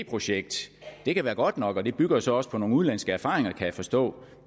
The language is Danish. projekt det kan være godt nok og det bygger så også på nogle udenlandske erfaringer kan jeg forstå